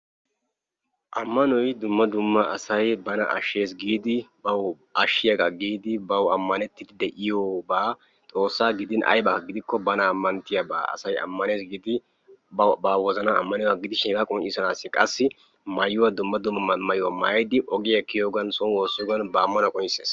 amanoy dumma dumma asay bana ashshees giidi bana ashshiyaaga giidi ba wozannan ammanettidi de'oyooba Xoossaa gidin aybba gidin asay ammanettidi ba wozanan ammaniyooga gidishin hega qonccissanssi qassi maayuwaa dumma dumma maayuwaa maayyidi ogiyaa kiyiyyoogan ba ammanuwa qonccissees.